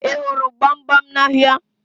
Ị hụrụ gbamgbam n'ahịa?